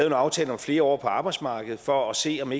en aftale om flere år på arbejdsmarkedet for at se om